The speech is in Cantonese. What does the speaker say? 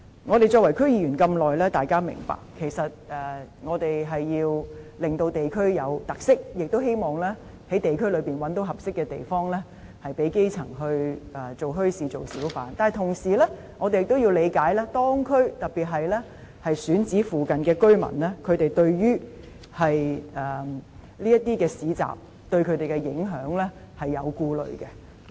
我們擔任區議員這麼久，大家也明白，其實我們是要令地區具有特色，並希望可在地區內覓得合適的地方興建墟市，讓基層可以做小販，但同時我們也必須理解，當區，特別是選址附近的居民對於這些市集會造成的影響是有所顧慮的。